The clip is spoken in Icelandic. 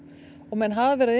menn hafa verið að